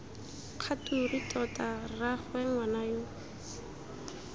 kgature tota rraagwe ngwana yo